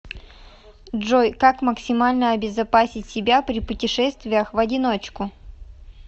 джой как максимально обезопасить себя при путешествиях в одиночку